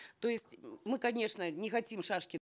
то есть мы конечно не хотим шашки